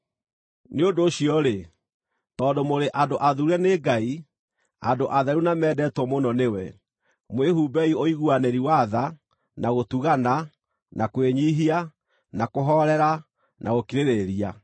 Nĩ ũndũ ũcio-rĩ, tondũ mũrĩ andũ athuure nĩ Ngai, andũ atheru na mendetwo mũno nĩwe, mwĩhumbei ũiguanĩri wa tha, na gũtugana, na kwĩnyiihia, na kũhoorera na gũkirĩrĩria.